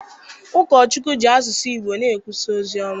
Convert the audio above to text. Ụkọchukwu ji asụsụ Igbo na-ekwusa ozi ọma.